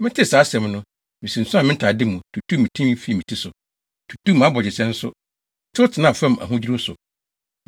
Metee saa asɛm no, misunsuan me ntade mu, + 9.3 Ntade mu sunsuan kyerɛ osu ne awerɛhowdi. tutuu me tinwi fii me ti so, tutuu mʼabogyesɛ nso, tew tenaa fam ahodwiriw so.